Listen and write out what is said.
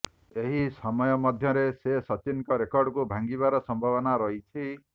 ଏହି ସମୟ ମଧ୍ୟରେ ସେ ସଚିନଙ୍କ ରେକର୍ଡକୁ ଭାଙ୍ଗିବାର ସମ୍ଭାବନା ରହିଛି